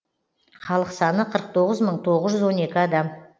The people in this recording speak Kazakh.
халық саны қырық тоғыз мың тоғыз жүз он екі адам